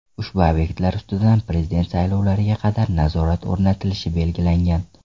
Ushbu obyektlar ustidan prezident saylovlariga qadar nazorat o‘rnatilishi belgilangan.